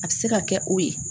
A bɛ se ka kɛ o ye